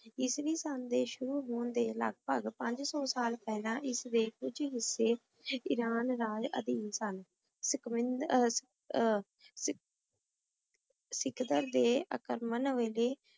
ਈਸਵੀ ਸਨ ਦੇ ਸ਼ੁਰੂ ਹੋਣ ਦੇ ਲਾਗ ਭਾਗ ਪੰਜ ਸੂ ਸਾਲ ਪੇਹ੍ਲਾਂ ਏਸ ਦੇ ਕੁਜ ਹਿਸੇ ਇਰਾਨ ਰਾਜ ਅਧੀਮ ਸਨ ਆਯ ਆਹ